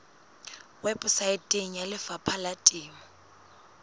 weposaeteng ya lefapha la temo